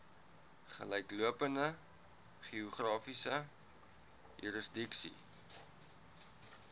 gelyklopende geografiese jurisdiksie